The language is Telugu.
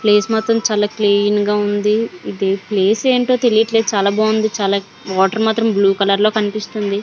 ప్లేస్ మాత్రం చాలా క్లీన్ గా ఉంది. ఇది ప్లేస్ ఏంటో తెలియట్లేదు చాలా బాగుంది. చాలా వాటర్ మాత్రం బ్లూ కలర్ లో కనిపిస్తుంది.